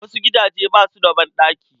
Wasu gidaje ba su da banɗaki.